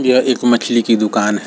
यह एक मछली की दुकान है।